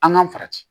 An ka farati